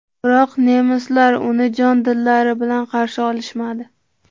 Biroq nemislar uni jon-dillari bilan qarshi olishmadi.